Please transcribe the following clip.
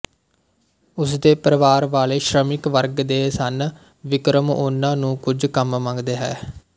ਉਸਦੇ ਪਰਵਾਰ ਵਾਲੇ ਸ਼ਰਮਿਕ ਵਰਗ ਦੇ ਸਨ ਵਿਕਰਮ ਉਨ੍ਹਾਂ ਨੂੰ ਕੁੱਝ ਕੰਮ ਮੰਗਦੇ ਹੈ